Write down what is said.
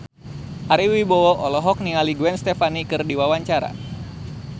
Ari Wibowo olohok ningali Gwen Stefani keur diwawancara